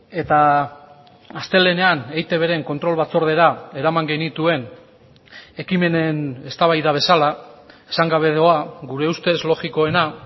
eta astelehenean eitbren kontrol batzordera eraman genituen ekimenen eztabaida bezala esan gabe doa gure ustez logikoena